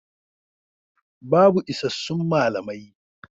Babu isassun malamai.